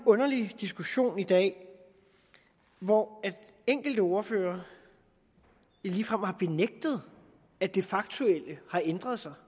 underlig diskussion i dag hvor enkelte ordførere ligefrem har benægtet at det faktuelle har ændret sig